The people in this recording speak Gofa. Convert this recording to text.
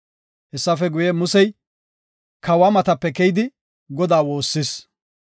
Hessafe guye, Musey kawa matape keyidi, Godaa woossis.